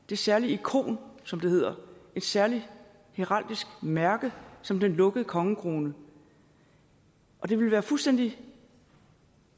det særlige ikon som det hedder et særligt heraldisk mærke som den lukkede kongekrone det ville være fuldstændig